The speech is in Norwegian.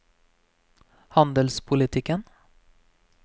handelspolitikken